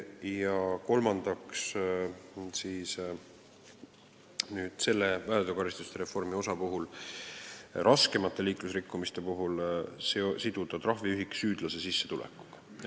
Väärteokaristuste reformi selle osa kolmas eesmärk on raskemate liiklusrikkumiste korral siduda trahviühik süüdlase sissetulekuga.